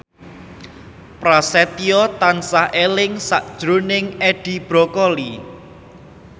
Prasetyo tansah eling sakjroning Edi Brokoli